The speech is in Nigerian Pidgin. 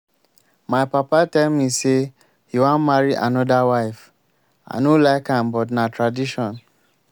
my papa tell me say he wan marry another wife. i no like am but na tradition